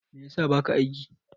Me ya sa baka aiki?